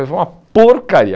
Foi uma porcaria.